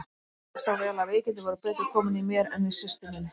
Og ég sá vel að veikindin voru betur komin í mér en í systur minni.